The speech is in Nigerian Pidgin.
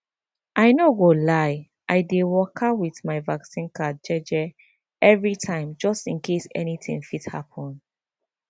i no go lie i dey waka with my vaccine card jeje every time just in case anything fit happen